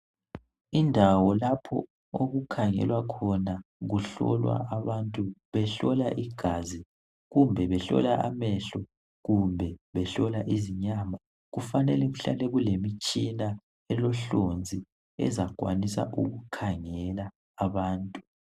Indawo lapho okukhangelwa khona kuhlolwa abantu behlola igazi kumbe behlola amehlo kumbe behlola izinyama kufanele kuhlale kulemitshina elohlonzi ezakwanisa ukukhangela abantu